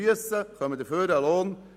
Dafür erhalten sie einen Lohn.